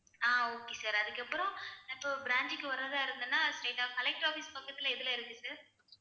ஆஹ் okay sir அதுக்கப்புறம் அப்போ branch க்கு வர்றதா இருந்தேன்னா straight ஆ collector office பக்கத்துல எதுல இருக்கு sir